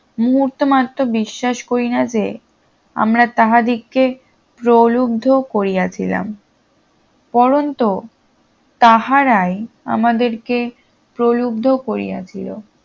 মুহুতে মাত্র বিশ্বাস করিনা যে আমরা তাহাদিগের প্রলুব্ধু করিয়াছিলাম পরন্ত তাহারাই আমাদেরকে প্রলুব্ধু করিয়াছিল